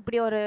இப்படி ஒரு